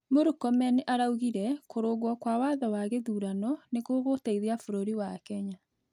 Mũrkomen araugĩre, kurungwo kwa watho wa gĩthurano nĩgũgũteĩthia bũrũrĩ wa Kenya